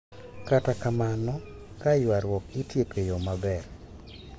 Kata kamano, ka ywarruok itieko e yo maber,